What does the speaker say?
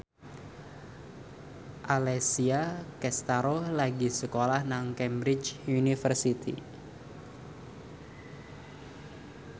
Alessia Cestaro lagi sekolah nang Cambridge University